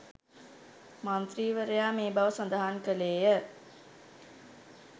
මන්ත්‍රීවරයා මේ බව සඳහන් කළේය